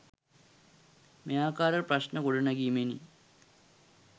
මෙයාකාර ප්‍රශ්න ගොඩනැගීමෙනි.